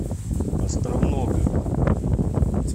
островного